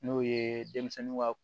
N'o ye denmisɛnninw ka